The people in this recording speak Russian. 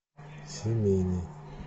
семейный